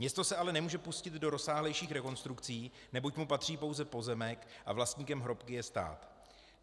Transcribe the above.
Město se ale nemůže pustit do rozsáhlejších rekonstrukcí, neboť mu patří pouze pozemek a vlastníkem hrobky je stát.